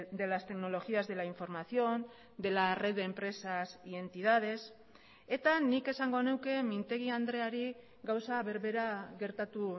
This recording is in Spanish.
de las tecnologías de la información de la red de empresas y entidades eta nik esango nuke mintegi andreari gauza berbera gertatu